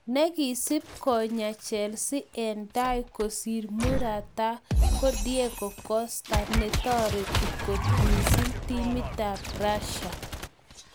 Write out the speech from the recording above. Negisip konyo chelsea en tai kosir morata ko Diego costa ne torti kot mising timit ap Russia.